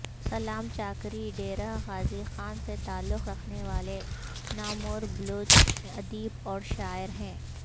سلام چاکری ڈیرہ غازی خان سے تعلق رکھنے والے ناموربلوچ ادیب اورشاعر ہے